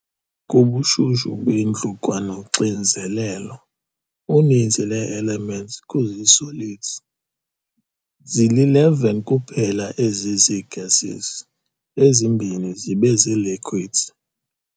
Kubushushu bendlu kwanoxinzelelo, uninzi lwee-elements kuzii-solids, zili-11 kuphela ezizii-gases ezimbini zibe zii-liquids.